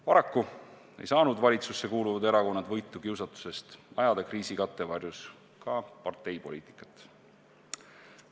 Paraku ei saanud valitsusse kuuluvad erakonnad võitu kiusatusest ajada kriisi kattevarjus ka parteipoliitikat.